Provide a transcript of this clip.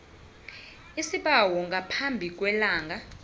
isibawo ngaphambi kwelanga